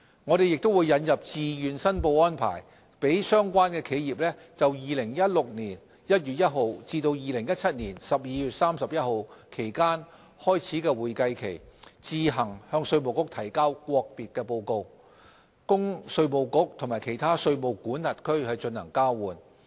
我們亦會引入自願申報安排，讓相關企業就2016年1月1日至2017年12月31日期間開始的會計期，自行向稅務局提交國別報告，供稅務局與其他稅務管轄區進行交換。